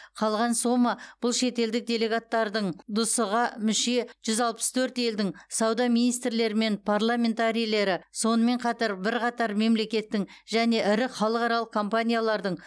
қалған сома бұл шетелдік делегаттардың дсұ ға мүше жүз алпыс төрт елдің сауда министрлері мен парламентарийлері сонымен қатар бірқатар мемлекеттің және ірі халықаралық компаниялардың